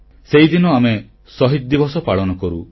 ସେହିଦିନ ଆମେ ଶହୀଦ ଦିବସ ପାଳନ କରୁ